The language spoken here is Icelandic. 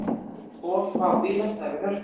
Of fá bílastæði við Hörpu